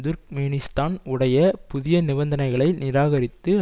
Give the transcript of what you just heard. துர்க்மேனிஸ்தான் உடைய புதிய நிபந்தனைகளை நிராகரித்து